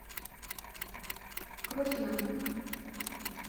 крохина